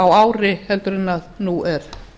á ári en nú er